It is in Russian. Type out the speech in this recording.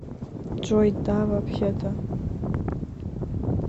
джой да вообще то